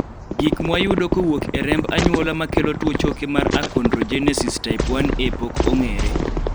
gik mwayudo kowuok e remb anyuola makelo tuo choke mar achonrogenesis type 1A pok ong'ere